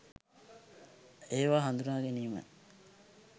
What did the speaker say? ඒවා හඳුනා ගැනීම